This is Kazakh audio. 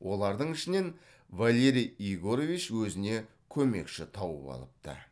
олардың ішінен валерий егорович өзіне көмекші тауып алыпты